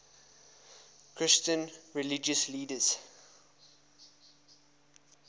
christian religious leaders